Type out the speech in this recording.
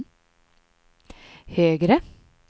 högre